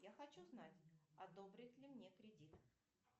я хочу знать одобрят ли мне кредит